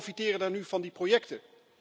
En wie profiteren nu van die projecten?